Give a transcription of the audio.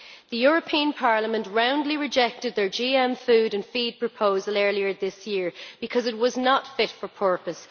The European Parliament roundly rejected their GM food and feed proposal earlier this year because it was not fit for purpose.